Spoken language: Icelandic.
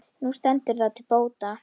Nú stendur það til bóta.